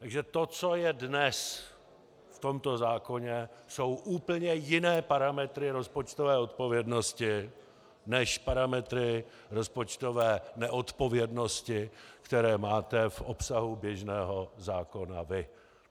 Takže to, co je dnes v tomto zákoně, jsou úplně jiné parametry rozpočtové odpovědnosti než parametry rozpočtové neodpovědnosti, které máte v obsahu běžného zákona vy.